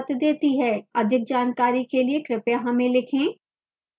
अधिक जानकारी के लिए कृपया हमें लिखें